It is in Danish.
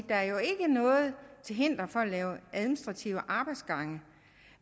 der jo ikke er noget til hinder for at lave administrative arbejdsgange